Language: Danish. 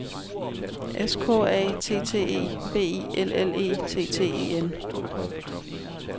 S K A T T E B I L L E T T E N